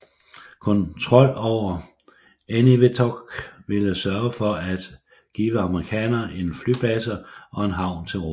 Kontrol over Eniwetok ville sørge for at give amerikanerne en flybase og en havn til rådighed